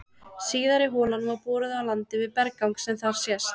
Síðari holan var boruð á landi við berggang sem þar sést.